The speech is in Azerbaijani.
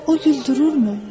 O gül dururmu?